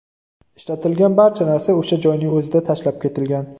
Ishlatilgan barcha narsa o‘sha joyning o‘zida tashlab ketilgan.